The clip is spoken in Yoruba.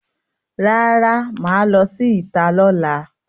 Rara, maa lo si ita lola.